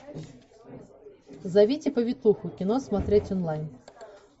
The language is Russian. зовите повитуху кино смотреть онлайн